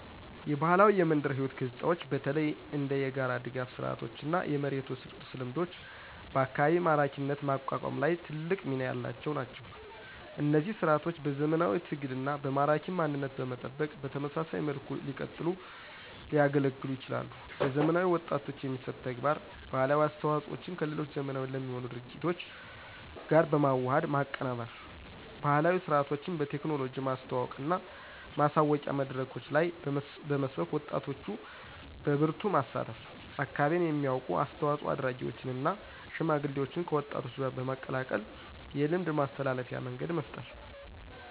የባህላዊ የመንደር ሕይወት ገጽታዎች በተለይ እንደ የጋራ ድጋፍ ስርዓቶችና የመሬት ውርስ ልምዶች በአካባቢ ማራኪነት ማቋቋም ላይ ትልቅ ሚና ያላቸው ናቸው። እነዚህ ሥርዓቶች በዘመናዊ ትግልና በማራኪ ማንነት በመጠበቅ በተመሳሳይ መልኩ ሲቀጥሉ ሊያገለግሉን ይችላሉ። ለዘመናዊ ወጣቶች የሚሰጥ ተግባር: ባህላዊ አስተዋፆዎቸን ከሌሎች ዘመናዊ ለሚሆኑ እድገቶች ጋር በመዋሃድ ማቀናበር። ባህላዊ ሥርዓቶችን በቴክኖሎጂ ማስተዋወቅና ማሳወቂያ መድረኮች ላይ በመስበክ ወጣቶች በበርቱ ማሳተፍ። አካባቢን የሚያውቁ አስተዋፆ አድራጊዎችን እና ሽማግሌዎችን ከወጣቶች ጋር በመቀላቀል የልምድ ማስተላለፊያ መንገድ መፍጠር።